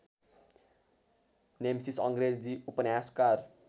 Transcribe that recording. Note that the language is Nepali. नेमसिस अङ्ग्रेजी उपन्यासकार